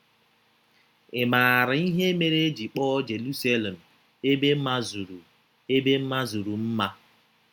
Ị̀ maara ihe mere e ji kpọọ Jeruselem “ ebe mazuru “ ebe mazuru mma ”?